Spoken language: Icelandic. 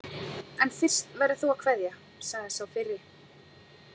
En fyrst verður þú að kveðja, sagði sá fyrri.